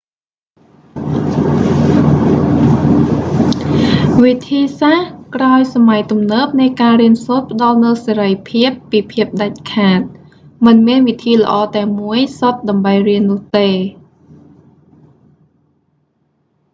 វិធីសាស្រ្តក្រោយសម័យទំនើបនៃការរៀនសូត្រផ្តល់នូវសេរីភាពពីភាពដាច់ខាត មិនមានវិធីល្អតែមួយសុទ្ធដើម្បីរៀននោះទេ